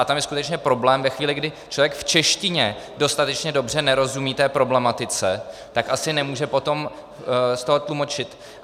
A tam je skutečně problém ve chvíli, kdy člověk v češtině dostatečně dobře nerozumí té problematice, tak asi nemůže potom z toho tlumočit.